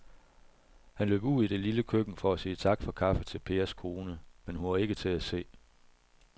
Han løb ud i det lille køkken for at sige tak for kaffe til Pers kone, men hun var ikke til at se.